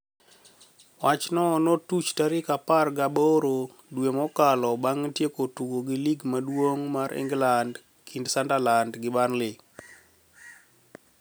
Wach no notuch tarik apar gi aboro dwe mokalo banig tieko tugo lig maduonig mar Eniglanid kinid Suniderlanid gi Burley.